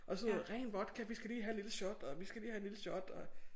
Og så ren vodka vi skal lige have et lille shot og vi skal lige have et lille shot og